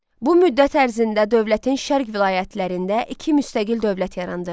Bu müddət ərzində dövlətin şərq vilayətlərində iki müstəqil dövlət yarandı.